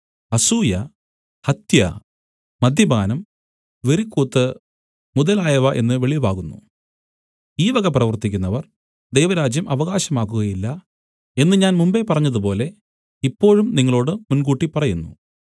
അസൂയ ഹത്യ മദ്യപാനം വെറിക്കൂത്ത് മുതലായവ എന്ന് വെളിവാകുന്നു ഈ വക പ്രവർത്തിക്കുന്നവർ ദൈവരാജ്യം അവകാശമാക്കുകയില്ല എന്ന് ഞാൻ മുമ്പെ പറഞ്ഞതുപോലെ ഇപ്പോഴും നിങ്ങളോടു മുൻകൂട്ടി പറയുന്നു